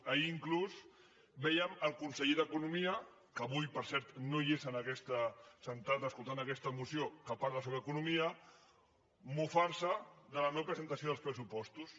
ahir inclús vèiem el conseller d’economia que avui per cert no és assegut escoltant aquesta moció que parla sobre economia mofar se de la no presentació dels pressupostos